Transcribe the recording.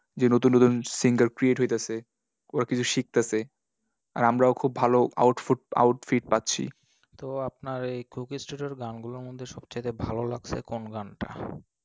যে নতুন নতুন singer create হইতাসে, ওরা কিছু শিখতাসে। আর আমরাও খুব ভালো outfut outfit পাচ্ছি। তো আপনার এই Coco studio এর গানগুলোর মধ্যে সবচেয়ে ভালো লাগসে কোন গানটা?